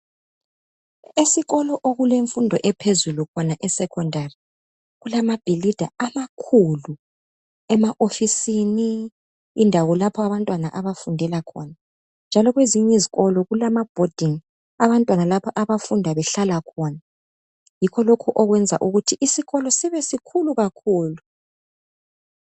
Esikolo okulemfundo ephezulu khona esecondary kulamabhilidi amakhulu ema ofisini, indawo lapha abantwana abafundela khona njalo kwezinye izikolo kulama bhodingi abantwana abafunda behlala khona yikho lokhu okwenza ukuthi isikolo sibe sikhulu kakhulu.